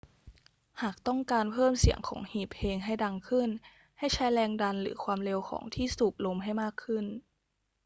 หากต้องการเพิ่มเสียงของหีบเพลงให้ดังขึ้น ให้ใช้แรงดันหรือความเร็วของที่สูบลมให้มากขึ้น